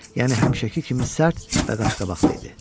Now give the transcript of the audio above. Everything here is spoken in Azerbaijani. Yəni həmişəki kimi sərt və qaşqabaqlı idi.